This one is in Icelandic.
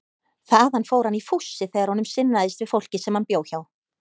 Þaðan fór hann í fússi þegar honum sinnaðist við fólkið sem hann bjó hjá.